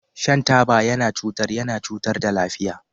Shan taba yana cutar yana cutar da lafiya.